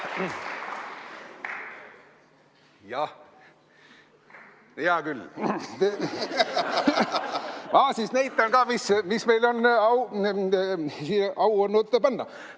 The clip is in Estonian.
Jah, hea küll, ma siis näitan ka, mis meil on au olnud siia panna.